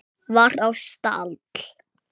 var á stall.